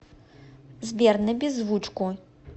сбер на беззвучку